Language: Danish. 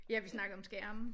Ja vi snakkede om skærme